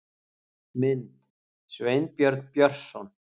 Mynd: Sveinbjörn Björnsson